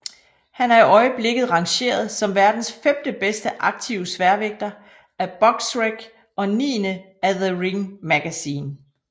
Han er i øjeblikket rangeret som verdens femte bedste aktive sværvægter af Boxrec og niende af The Ring magazine